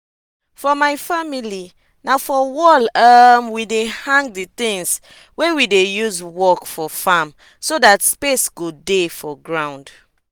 for my family na for wall um we hang di tins we dey use work for farm so dat space go dey for ground.